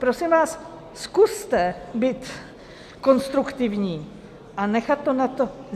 Prosím vás, zkuste být konstruktivní a nechat to na to...